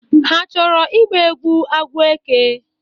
Ha achọrọ ịgba egwu agwọ eke?